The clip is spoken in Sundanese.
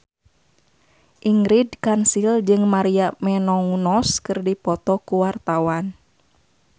Ingrid Kansil jeung Maria Menounos keur dipoto ku wartawan